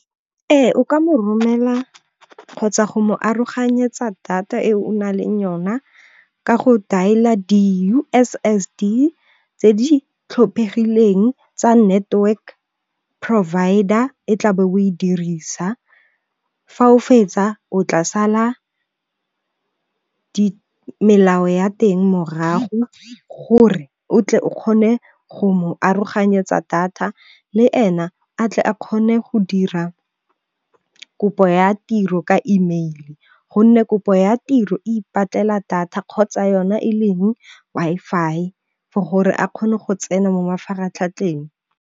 Ee o ka mo romela kgotsa go mo aroganyetsa data e o na leng yona ka go dial-a di-U_S_S_D tse di tlhophegileng tsa network provider e tla be o e dirisa, fa o fetsa o tla sala melao ya teng morago gore o tle o kgone go mo aroganyetsa data le ena a tle a kgone go dira kopo ya tiro ka email. Gonne kopo ya tiro e ipatlela data kgotsa yona e leng Wi-Fi for gore a kgone go tsena mo mafaratlhatlheng.